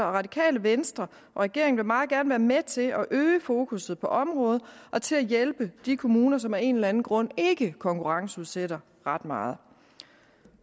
radikale venstre og regeringen vil meget gerne være med til at øge fokusset på området og til at hjælpe de kommuner som af en eller anden grund ikke konkurrenceudsætter ret meget